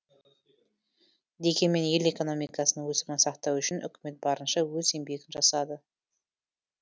дегенмен ел экономикасының өсімін сақтау үшін үкімет барынша өз еңбегін жасады